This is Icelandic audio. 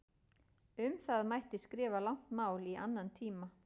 Um það mætti skrifa langt mál í annan tíma.